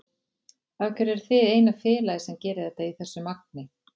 Af hverju eruð þið eina félagið sem gerir þetta í þessu magni?